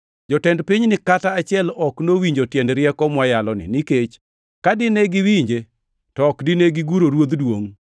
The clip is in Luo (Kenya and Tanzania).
Jotend pinyni kata achiel ok nowinjo tiend rieko mwayaloni, nikech ka dine giwinje, to ok dine giguro Ruodh Duongʼ.